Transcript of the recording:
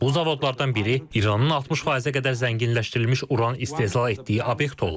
Bu zavodlardan biri İranın 60%-ə qədər zənginləşdirilmiş uran istehsal etdiyi obyekt olub.